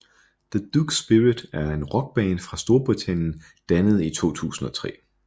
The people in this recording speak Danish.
The Duke Spirit er en rockband fra Storbritannien dannet i 2003